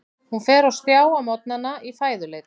Hún fer á stjá á morgnana í fæðuleit.